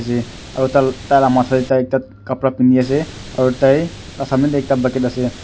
je aru taila matha teh tai ekta khapra pindi ase aru tai ekta bucket ase .